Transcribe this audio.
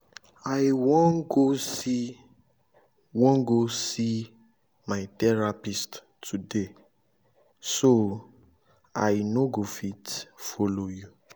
i wan go see wan go see my therapist today so i no go fit follow you